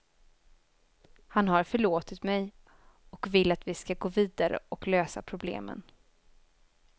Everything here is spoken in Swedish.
Han har förlåtit mig, och vill att vi ska gå vidare och lösa problemen.